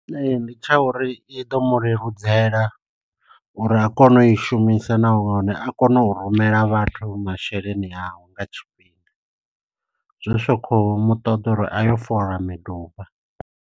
Ndi tsha uri i ḓo mu leludzela uri a kone u i shumisa nahone a kone u rumela vhathu masheleni awe nga tshifhinga, zwi sa kho muṱoḓa uri a yo fola miduba.